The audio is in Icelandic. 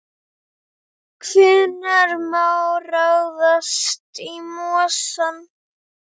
Hvenær má ráðast í mosann?